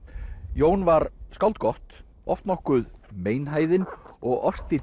Jón var skáld gott oft nokkuð meinhæðinn og orti